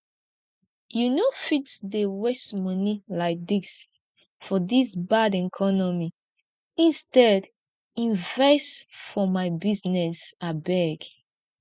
you no fit dey waste money like dis for dis bad economy instead invest for my business abeg